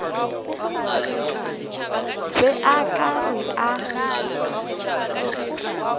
be o ka re a